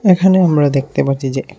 এখানে আমরা দেখতে পাচ্ছি যে--